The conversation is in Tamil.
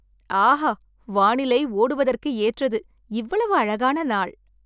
ஆஹா, வானிலை ஓடுவதற்கு ஏற்றது, இவ்வளவு அழகான நாள்.